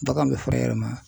Bagan bɛ furu a yɛrɛ ma ?